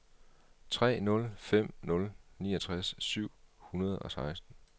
tre nul fem nul niogtres syv hundrede og seksten